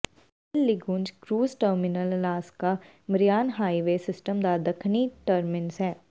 ਬੇਲਲਿੰਗੁੰਜ cruise terminal Alaska marine highway system ਦਾ ਦੱਖਣੀ terminus ਹੈ